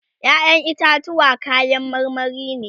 ƴaƴan itatuwa kayan marmari ne